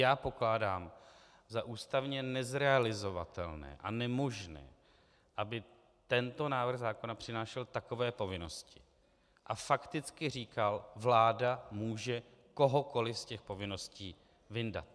Já pokládám za ústavně nezrealizovatelné a nemožné, aby tento návrh zákona přinášel takové povinnosti a fakticky říkal: vláda může kohokoliv z těch povinností vyndat.